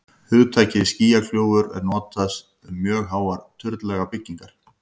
hugtakið skýjakljúfur er notað um mjög háar turnlaga byggingar